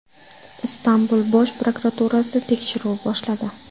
Istanbul bosh prokuraturasi tekshiruv boshladi.